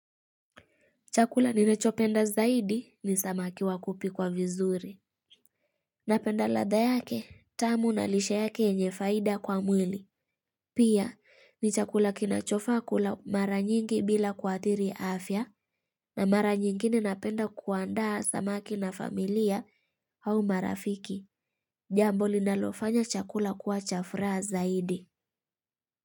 Chakula ninachopenda zaidi ni samaki wa kupikwa vizuri. Napenda ladha yake, tamu na lishe yake yenye faida kwa mwili. Pia, ni chakula kinachofaa kula mara nyingi bila kuathiri afya, na mara nyingine napenda kuandaa samaki na familia au marafiki. Jambo linalofanya chakula kuwa cha furaha zaidi.